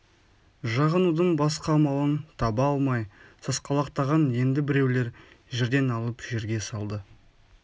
жағынудың басқа амалын таба алмай сасқалақтаған енді біреулер жерден алып жерге салды